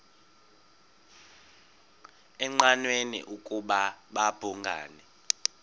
engqanweni ukuba babhungani